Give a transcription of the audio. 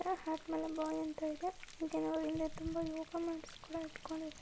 Hat ಮೇಲೆ boy ಅಂತ ಇದೆ. ಹಾಗೆ ಅವರ ಹಿಂದೆ ತುಂಬಾ ಯೋಗ ಮ್ಯಾಟ್ಸ್ ಕೂಡ ಇಟ್ಕೊಂಡಿದಾರೆ.